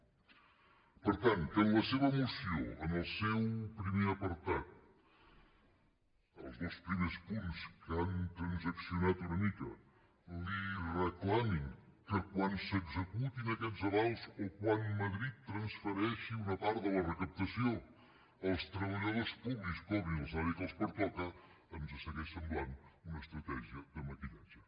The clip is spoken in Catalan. per tant que en la seva moció en el seu primer apartat els dos primers punts que han transaccionat una mica li reclamin que quan s’executin aquests avals o quan madrid transfereixi una part de la recaptació els treballadors públics cobrin el salari que els pertoca ens segueix semblant una estratègia de maquillatge